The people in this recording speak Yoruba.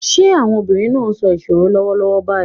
Are the women saying a riddle right now?